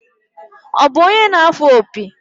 Ọ bụ onye na-afụ opi?